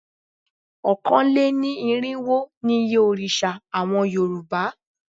Ọ̀kánlénírinwó ni iye òrìṣà àwọn Yorùbá